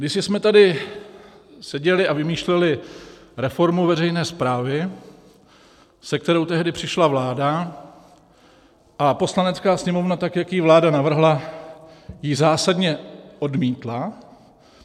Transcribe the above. Kdysi jsme tady seděli a vymýšleli reformu veřejné správy, se kterou tehdy přišla vláda, a Poslanecká sněmovna tak, jak ji vláda navrhla, ji zásadně odmítla.